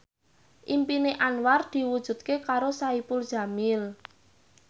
impine Anwar diwujudke karo Saipul Jamil